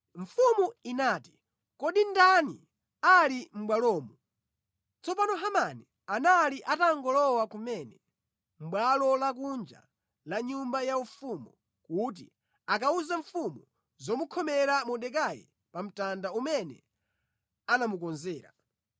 Mfumu inati, “Kodi ndani ali mʼbwalomo?” Tsono Hamani anali atangolowa kumene mʼbwalo lakunja la nyumba yaufumu kuti akawuze mfumu zomukhomera Mordekai pa mtanda umene anamukonzera.